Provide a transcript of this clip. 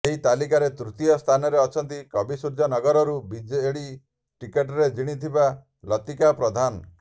ଏହି ତାଲିକାର ତୃତୀୟ ସ୍ଥାନରେ ଅଛନ୍ତି କବିସୂର୍ଯ୍ୟନଗରରୁ ବିଜେଡି ଟିକଟରେ ଜିଣିଥିବା ଲତିକା ପ୍ରଧାନ